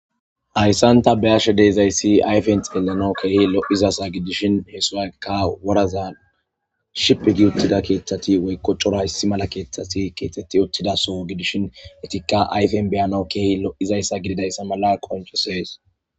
hayssanta be ashe deezayssi ayfen xelanao kkehi lo7izasa gidishin heesuakka woraza ship gi uttida keeththati woykkoccora issi mala keeththati keetetti ottidaso gidishin etikka ayfen beyanau kehi lo7izayssa gididayssa mala qonchosees